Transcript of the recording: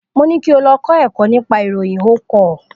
Mo ni kí o lọ kọ́ ẹ̀kọ́ nípa ìròyìn o kọ̀.